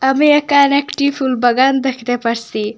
আমি একানে একটি ফুল বাগান দেখতে পারসি।